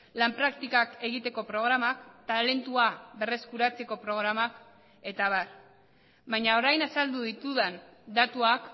lan praktikak egiteko programak talentua berreskuratzeko programak eta abar baina orain azaldu ditudan datuak